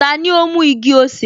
Tani ó mú igi-osè?